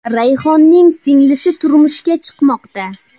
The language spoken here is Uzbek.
Rayhonning singlisi turmushga chiqmoqda.